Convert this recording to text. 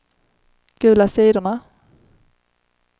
gula sidorna